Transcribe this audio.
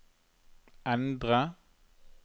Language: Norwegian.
endre